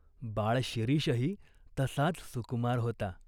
बाळ शिरीषही तसाच सुकुमार होता.